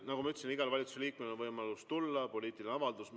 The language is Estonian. Nagu ma ütlesin, igal valitsusliikmel on võimalus tulla ja teha poliitiline avaldus.